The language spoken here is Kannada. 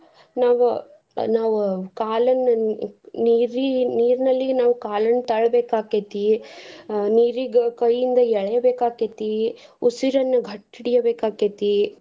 ನಾವ್ ನಾವ್ ಕಾಲನ್ನ ನೀರಿ~ ನೀರ್ನಲ್ಲಿ ನಾವ್ ಕಾಲನ್ ತಳ್ ಬೇಕಾಕೆತೀ, ನೀರಿಗ ಕೈಯಿಂದ ಎಳಿಬೇಕಾಕೆತಿ ಉಸಿರನ್ನ ಗಟ್ಟಿ ಹಿಡಿಬೇಕಾಕೇತಿ.